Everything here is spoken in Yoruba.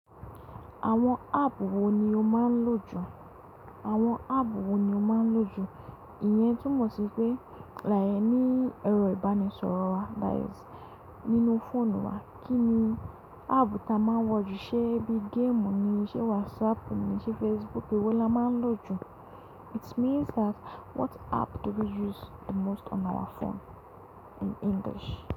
Àwọn app wo ni o máa ń lò jù? Àwọn app wo ni o máa ń lò jù? Ìyẹn túmọ̀ sí pé like ní ẹ̀rọ ìbánisọ̀rọ̀ wa that is nínú fóònù wa, kí ni app tí a máa ń wọ̀ jù? Ṣé bí game ni? Ṣé WhatsApp ni? Ṣé Facebook ni? Èwo la máa ń lò jù? It means that what app do we use the most on our phone in English.